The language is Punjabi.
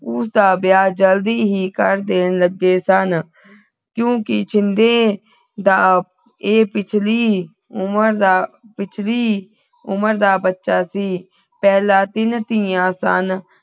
ਪਰ ਉਸਦਾ ਵਿਆਹ ਜਲਦੀ ਹੀ ਕਰ ਦੇਣ ਲਗੇ ਸਨ ਕਿਉਕਿ ਛਿੰਦੇ ਦਾ ਇਹ ਪਿਛਲੀ ਉਮਰ ਦਾ ਪਿਛਲੀ ਉਮਰ ਦਾ ਬੱਚਾ ਸੀ ਪਹਿਲਾ ਤੀਨ ਧੀਆਂ ਸਨ